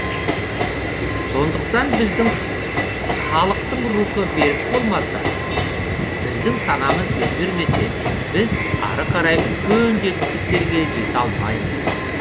сондықтан біздің халықтың рухы берік болмаса біздің санамыз өзгермесе біз ары қарай үлкен жетістіктерге жете алмаймыз